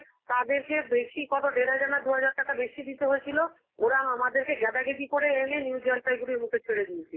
তাদেরকে বেশি কত দেড় হাজার না দুহাজার টাকা বেশি দিতে হয়েছিল, ওরা আমাদেরকে গ্যাদাগেদি করে এনে new জলপাইগুড়ির মুখে ছেড়ে দিয়েছিল.